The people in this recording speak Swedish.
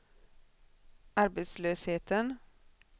arbetslösheten